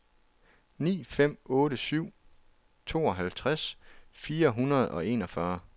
ni fem otte syv tooghalvtreds fire hundrede og enogfyrre